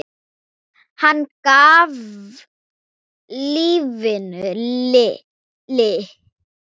Hann gaf lífinu lit.